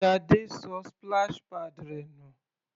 Sade ṣọ splash pads rẹ̀ nù.